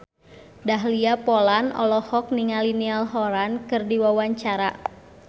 Dahlia Poland olohok ningali Niall Horran keur diwawancara